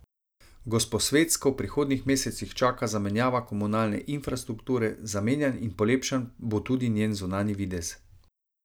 Gosposvetsko v prihodnjih mesecih čaka zamenjava komunalne infrastrukture, zamenjan in polepšan bo tudi njen zunanji videz.